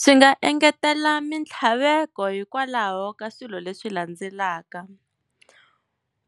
Swi nga engetela mintlhaveko hikwalaho ka swilo leswi landzelaka